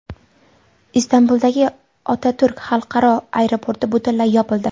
Istanbuldagi Otaturk xalqaro aeroporti butunlay yopildi.